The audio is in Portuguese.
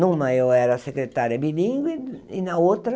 Numa eu era secretária bilingue e na outra